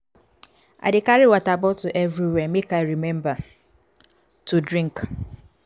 i dey carry water bottle everywhere make i rememba to drink.